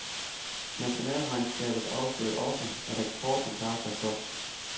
Nationalregnskabet afslører også, at eksporten klarer sig flot.